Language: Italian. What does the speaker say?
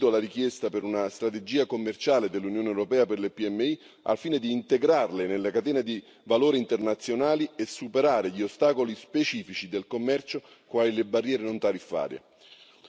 Condivido la richiesta di una strategia commerciale dell'Unione europea per le PMI, al fine di integrarle nelle catene di valore internazionali e superare gli ostacoli specifici del commercio, quali le barriere non tariffarie.